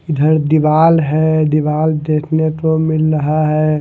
इधर दीवाल है दीवाल देखने को मिल रहा है।